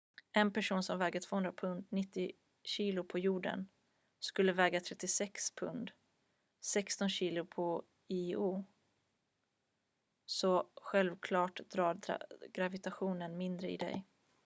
en person som väger 200 pund 90 kg på jorden skulle väga 36 pund 16 kg på io. så självklart drar gravitationen mindre i dig